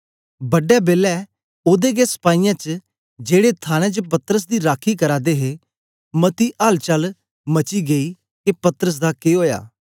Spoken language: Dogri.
बड़ा बेला ओदे गै सपाईयें च जेड़े थाने च पतरस दी राखी करा दे हे मती अल चल मची गेई के पतरस दा के ओया